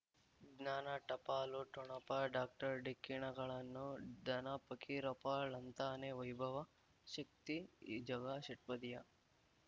ಜ್ಞಾನ ಟಪಾಲು ಠೊಣಪ ಡಾಕ್ಟರ್ ಢಿಕ್ಕಿ ಣಗಳನು ಧನ ಫಕೀರಪ್ಪ ಳಂತಾನೆ ವೈಭವ ಶಕ್ತಿ ಝಗಾ ಷಟ್ಪದಿಯ